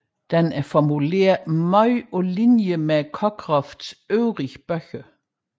Den er formuleret meget på linje med Cockcrofts øvrige bøger